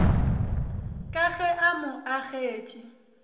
ka ge a mo agetše